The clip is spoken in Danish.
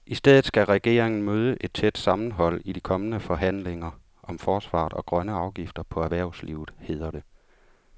I stedet skal regeringen møde et tæt sammenhold i de kommende forhandlinger om forsvaret og grønne afgifter på erhvervslivet, hedder det.